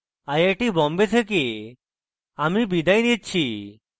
I I Bombay থেকে আমি বিদায় নিচ্ছি